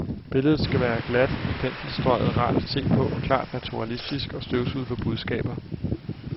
Billedet skal være glat i penselstrøget, rart at se på, klart naturalistisk og støvsuget for budskaber.